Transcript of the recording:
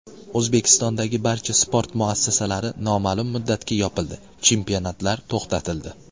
O‘zbekistondagi barcha sport muassasalari noma’lum muddatga yopildi, chempionatlar to‘xtatildi.